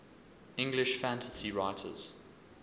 english fantasy writers